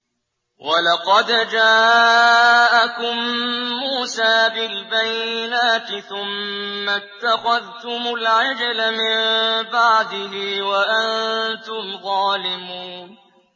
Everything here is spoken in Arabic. ۞ وَلَقَدْ جَاءَكُم مُّوسَىٰ بِالْبَيِّنَاتِ ثُمَّ اتَّخَذْتُمُ الْعِجْلَ مِن بَعْدِهِ وَأَنتُمْ ظَالِمُونَ